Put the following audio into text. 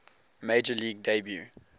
major league debut